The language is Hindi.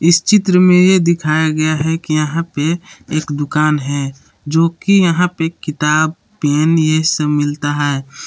इस चित्र में ये दिखाया गया है कि यहां पे एक दुकान है जो कि यहां पे किताब पेन ये सब मिलता है।